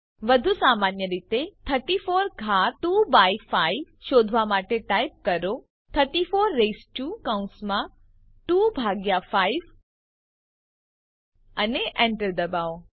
વધુ સામાન્ય રીતે 34 ઘાત 2 બાય 5 શોધવા માટે ટાઈપ કરો 34 રેઈસ્ડ ટુ કૌસમાં 2 ભાગ્યા 5 અને Enter દબાવો